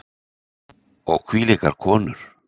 Og hvílíkar konur!